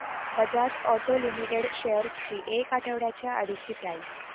Bajaj auto limited shares ची एक आठवड्या आधीची प्राइस